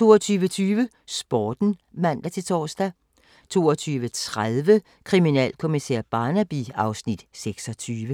22:20: Sporten (man-tor) 22:30: Kriminalkommissær Barnaby (Afs. 26)